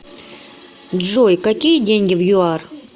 джой какие деньги в юар